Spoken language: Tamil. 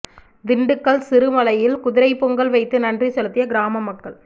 திண்டுக்கல் சிறுமலையில் குதிரை பொங்கல் வைத்து நன்றி செலுத்திய கிராம மக்கள்